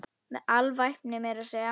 Með alvæpni meira að segja!